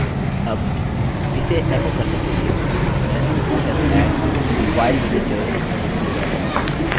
अब इसे एकोechoकरने के लिए मैं youve had file visitors लिखूँगा